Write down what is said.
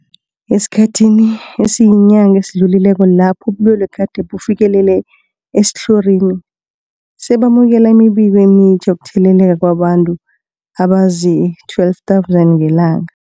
Esikhathini esiyinyanga esidlulileko lapho ubulwele gade bufikelele esitlhorini, besamukela imibiko emitjha yokutheleleka kwabantu abazii-12 000 ngelanga.